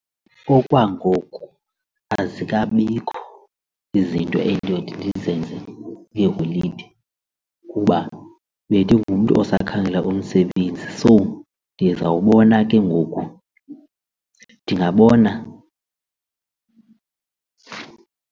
Okwangoku azikabikho izinto endiyothi ndizenze kwiiholide kuba bendingumntu osakhangela umsebenzi so ndizawubona ke ngoku ndingabona.